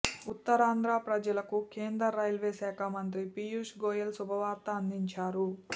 ఉత్తరాంధ్ర ప్రజలకు కేంద్ర రైల్వే శాఖా మంత్రి పీయూష్ గోయెల్ శుభవార్త అందించారు